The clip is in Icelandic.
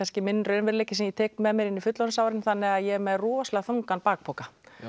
er minn raunveruleiki sem ég tek með mér inn í fullorðinsárin þannig að ég er með rosalega þungan bakpoka